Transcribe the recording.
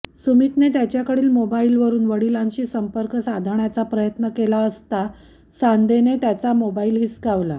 सुमितने त्याच्याकडील मोबाइलवरून वडिलांशी संपर्क साधण्याचा प्रयत्न केला असता सांदेने त्याचा मोबाइल हिसकावला